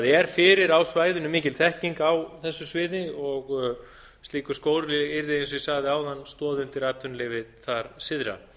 er fyrir á svæðinu mikil þekking á þessu sviði og slíkur skóli yrði eins og ég sagði áðan stoð undir atvinnulífið þar syðra